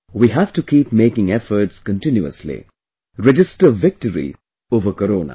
We have to keep making efforts continuously...register victory over Corona